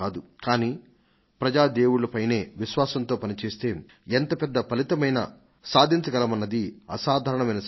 కానీ ప్రజల పైన విశ్వాసంతో పనిచేస్తే ఎంత పెద్ద ఫలితమైనా సాధించగలమన్నది అసాధారణమైన పాఠం